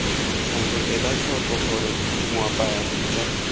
thando elatlhoko gore moapaya pitsa